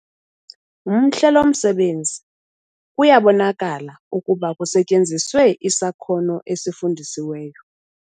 Mhle lo msebenzi kuyabonakala ukuba kusetyenziswe isakhono esifundisiweyo.